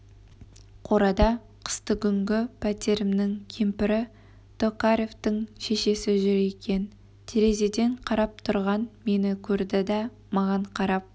қорада қыстыгүнгі пәтерімнің кемпірі токаревтің шешесі жүр екен терезеден қарап тұрған мені көрді да маған қарап